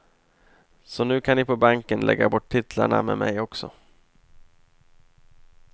Så nu kan ni på banken lägga bort titlarna med mig också.